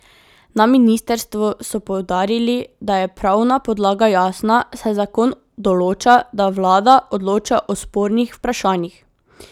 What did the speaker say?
Na ministrstvu so poudarili, da je pravna podlaga jasna, saj zakon določa, da vlada odloča o spornih vprašanjih.